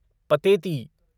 Pateti